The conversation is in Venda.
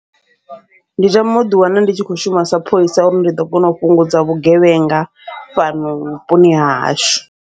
Ndi tama uḓi wana ndi tshi kho shuma sa pholisa, uri ndi ḓo kona u fhungudza vhugevhenga fhano vhuponi hahashu.